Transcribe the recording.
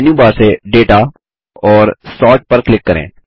menu bar से data और sort पर क्लिक करें